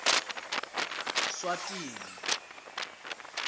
swatini